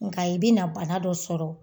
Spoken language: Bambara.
Nga i bɛna bana dɔ sɔrɔ